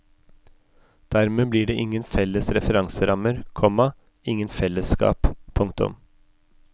Dermed blir det ingen felles referanserammer, komma ingen fellesskap. punktum